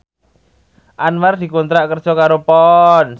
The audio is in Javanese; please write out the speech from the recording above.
Anwar dikontrak kerja karo Ponds